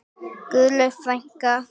Guðlaug frænka.